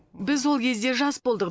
біз ол кезде жас болдық